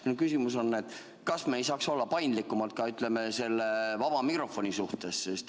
Minu küsimus on: kas me ei saaks olla paindlikumad ka vaba mikrofoni suhtes?